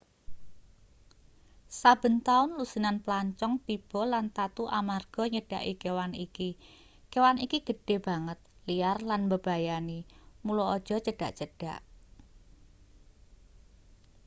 saben taun lusinan plancong tiba lan tatu amarga nyedhaki kewan iki kewan iki gedhe banget liar lan mbebayani mula aja cedhak-cedhak